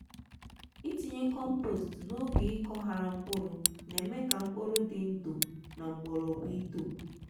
itinye compost n'oge ịkó hara mkpụrụ n’eme ka mkpụrụ di ndu na mgbọrọgwụ ito.